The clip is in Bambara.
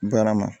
Barama